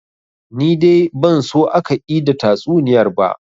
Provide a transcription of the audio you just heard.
Ni dai ban so aka ida tatsuniyar ba